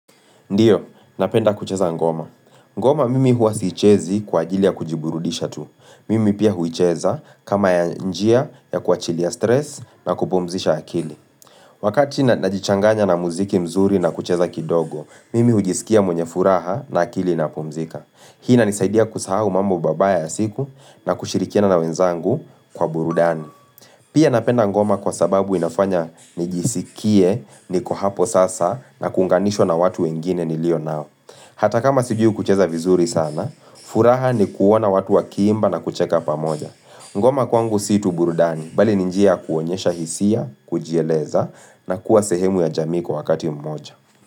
Ndiyo, napenda kucheza ngoma. Ngoma mimi huasichezi kwa ajili ya kujiburudisha tu. Mimi pia huicheza kama ya njia ya kuachilia stress na kupomzisha akili. Wakati najichanganya na muziki mzuri na kucheza kidogo, mimi hujisikia mwenye furaha na akili na pumzika. Hina nisaidia kusahu mambo babaya ya siku na kushirikiana na wenzangu kwa burudani. Pia napenda ngoma kwa sababu inafanya nijisikie, niko hapo sasa na kunganishwa na watu wengine ni lio nao. Hata kama sijui kucheza vizuri sana, furaha ni kuona watu wa kimba na kucheka pamoja. Ngoma kwangu si tu burudani, bali ninjia kuonyesha hisia, kujieleza na kuwa sehemu ya jamii kwa wakati mmoja.